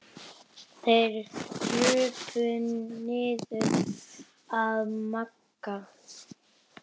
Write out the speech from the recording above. Þeir krupu niður að Magga.